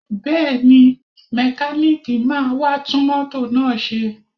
Bẹ́ẹ̀ni, mẹkáníìkì máa wá tún mọ́tò náà ṣe